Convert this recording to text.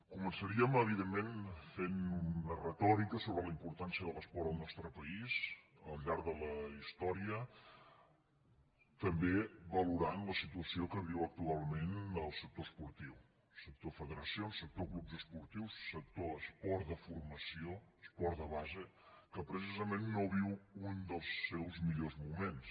començaríem evidentment fent una retòrica sobre la importància de l’esport al nostre país al llarg de la història també va·lorant la situació que viu actualment el sector esportiu sector federacions sector clubs esportius sector es·port de formació esport de base que precisament no viu un dels seus millors moments